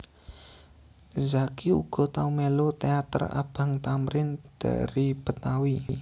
Zacky uga tau mélu teater Abang Thamrin Dari Betawi